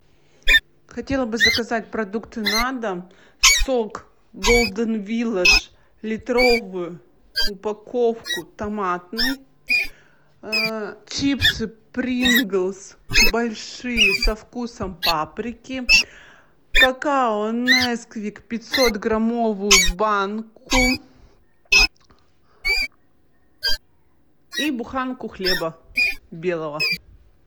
хотела бы заказать продукты на дом сок голден виладж литровую упаковку томатный чипсы принглс большие со вкусом паприки какао несквик пятьсотграмовую банку и буханку хлеба белого